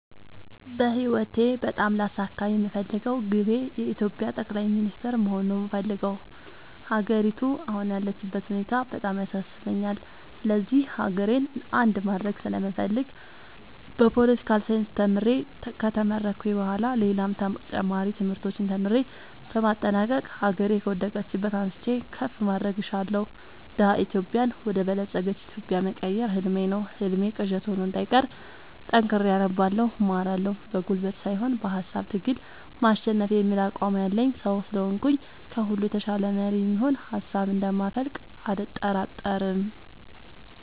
በህይወቴ በጣም ላሳካ የምፈልገው ግቤ የኢትዮጵያ ጠቅላይ ሚኒስተር መሆን ነው የምፈልገው። ሀገሪቱ አሁን ያለችበት ሁኔታ በጣም ያሳስበኛል ስለዚህ ሀገሬን አንድ ማድረግ ስለምፈልግ በፓለቲካል ሳይንስ ተምሬ ከተመረኩኝ በኋላ ሌላም ተጨማሪ ትምህርቶችን ተምሬ በማጠናቀቅ ሀገሬ ከወደቀችበት አንስቼ ከፍ ማድረግ እሻለሁ። ደሀ ኢትዮጵያን ወደ በለፀገች ኢትዮጵያ መቀየር ህልሜ ነው ህልሜ ቅዠት ሆኖ እንዳይቀር ጠንክሬ አነባለሁ እማራለሁ። በጉልበት ሳይሆን በሃሳብ ትግል ማሸነፍ የሚል አቋም ያለኝ ሰው ስለሆንኩኝ ከሁሉ የተሻለ መሪ የሚሆን ሀሳብ እንደ ማፈልቅ አልጠራጠርም።